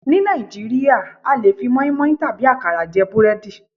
Ní Nàìjíríà a lè fi moinmoin tàbí àkàrà jẹ búrẹ́dì.